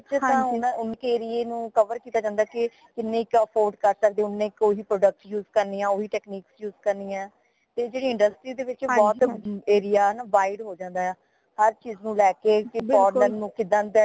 ਤਾ ਓਨਾ ਉਨਕੇ area ਨੂ cover ਕੀਤਾ ਜਾਂਦਾ ਹਾ ਕਿ ਕੀਨੇ ਕੁ afford ਕਰ ਸਕਦੇ ਓਨੇ ਕੁ ਹੀ product use ਕਰਨੇ ਹਾ ਓਹੀ technique use ਕਰਨੀ ਹਾ ਤੇ ਜੇੜੀ industry ਦੇ ਵਿਚ area ਨਾ ਬਹੁਤ wide ਹੋ ਜਾਂਦਾ ਹਾ ਹਰ ਚੀਜ਼ ਨੂ ਲੈ ਕੇ ਕਿ former ਨੂ ਕਿਦਾ ਦਾ